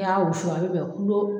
N'i y'a wusu a bɛ bɛn